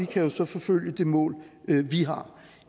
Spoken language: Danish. kan jo så forfølge det mål vi har